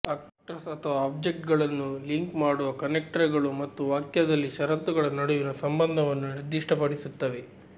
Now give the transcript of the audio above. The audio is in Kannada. ಆಕ್ಟರ್ಸ್ ಅಥವಾ ಆಬ್ಜೆಕ್ಟ್ಗಳನ್ನು ಲಿಂಕ್ ಮಾಡುವ ಕನೆಕ್ಟರ್ಗಳು ಮತ್ತು ವಾಕ್ಯದಲ್ಲಿ ಷರತ್ತುಗಳ ನಡುವಿನ ಸಂಬಂಧವನ್ನು ನಿರ್ದಿಷ್ಟಪಡಿಸುತ್ತವೆ